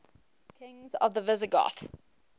kings of the visigoths